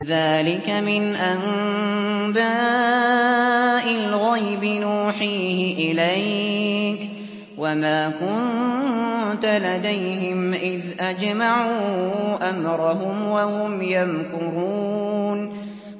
ذَٰلِكَ مِنْ أَنبَاءِ الْغَيْبِ نُوحِيهِ إِلَيْكَ ۖ وَمَا كُنتَ لَدَيْهِمْ إِذْ أَجْمَعُوا أَمْرَهُمْ وَهُمْ يَمْكُرُونَ